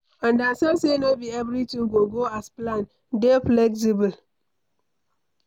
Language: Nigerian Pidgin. Understand sey no be everything go go as planned, dey flexible